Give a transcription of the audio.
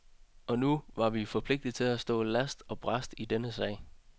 Og nu var vi forpligtet til at stå last og brast i denne sag.